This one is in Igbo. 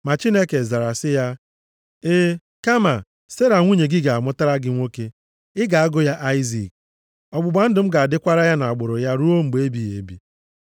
Ma Chineke zara sị ya, “Ee, kama Sera nwunye gị ga-amụtara gị nwa nwoke. Ị ga-agụ ya Aịzik. Ọgbụgba ndụ m ga-adịkwara ya na agbụrụ ya ruo mgbe ebighị ebi.